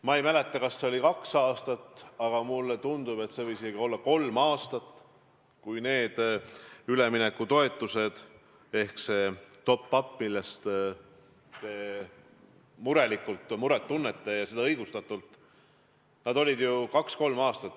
Ma ei mäleta, kas see oli kaks aastat või kauem – mulle tundub, et see võis olla isegi kolm aastat –, kui need üleminekutoetused ehk need top-up'id, mille pärast te muret tunnete, ja seda õigustatult, olid nulli peal.